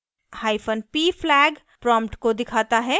hyphen p flag prompt को दिखाता है